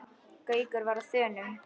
Gaukur var á þönum.